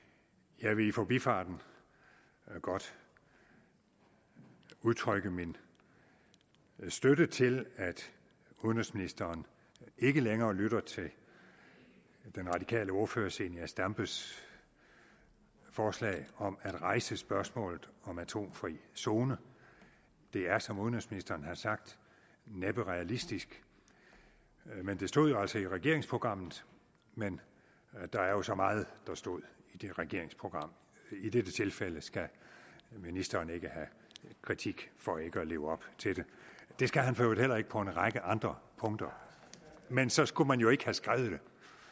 jeg vil i forbifarten godt udtrykke min støtte til at udenrigsministeren ikke længere lytter til den radikale ordfører fru zenia stampes forslag om at rejse spørgsmålet om atomfri zone det er som udenrigsministeren har sagt næppe realistisk men det stod jo altså i regeringsprogrammet men der er jo så meget der stod i det regeringsprogram i dette tilfælde skal ministeren ikke have kritik for ikke at leve op til det det skal han i øvrigt heller ikke på en række andre punkter men så skulle man jo ikke have skrevet det